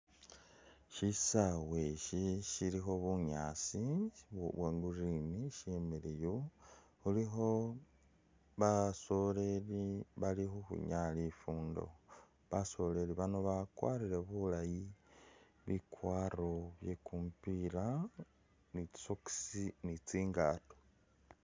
Shisawa shi shilikho bunyaasi bwa green shimiliyu khulikho basoleli bali khukwinyaya lifundo basoleli bano bakwarire bulayi bikwaro bye kumupila ni tsi socks ni tsingato.